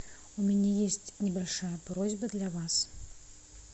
у меня есть небольшая просьба для вас